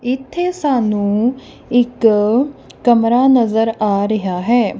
ਇੱਥੇ ਸਾਨੂੰ ਇੱਕ ਕਮਰਾ ਨਜ਼ਰ ਆ ਰਿਹਾ ਹੈ।